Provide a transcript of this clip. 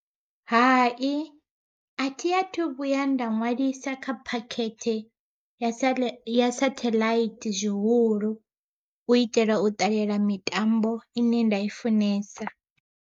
Hai athi athu vhuya nda ṅwalisa kha phakhethe ya satheḽaithi zwihulu, u itela u ṱalela mitambo ine nda i funesa.